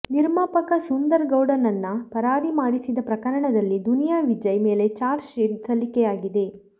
ನಿರ್ಮಾಪಕ ಸುಂದರ್ ಗೌಡನನ್ನ ಪರಾರಿ ಮಾಡಿಸಿದ ಪ್ರಕರಣದಲ್ಲಿ ದುನಿಯಾ ವಿಜಯ್ ಮೇಲೆ ಚಾರ್ಜ್ ಶೀಟ್ ಸಲ್ಲಿಕೆಯಾಗಿದೆ